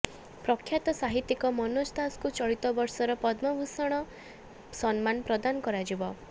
ପ୍ରଖ୍ୟାତ ସାହିତ୍ୟିକ ମନୋଜ ଦାସଙ୍କୁ ଚଳିତ ବର୍ଷର ପଦ୍ମଭୂଷଣ ସମ୍ମାନ ପ୍ରଦାନ କରାଯିବ